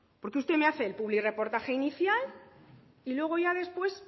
porque es que me hace el publirreportaje inicial y luego ya después